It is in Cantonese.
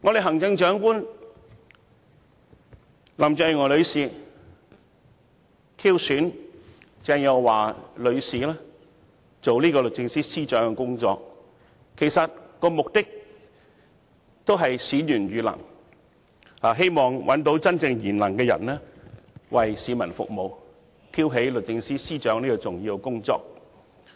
行政長官林鄭月娥女士挑選鄭若驊女士擔任律政司司長，目的正是選賢與能，希望找到真正賢能的人為市民服務，挑起律政司司長的重要工作。